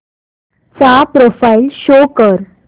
चा profile show कर